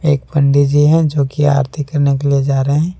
एक पंडी जी हैं जोकि आरती करने के लिए जा रहे हैं।